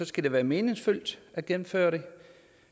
skal det være meningsfyldt at gennemføre dem